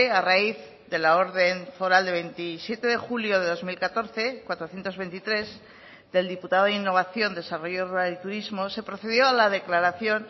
a raíz de la orden foral de veintisiete de julio de dos mil catorce cuatrocientos veintitrés del diputado de innovación desarrollo rural y turismo se procedió a la declaración